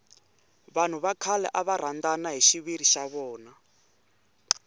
vanhu va khale ava rhandana hi xiviri xa vona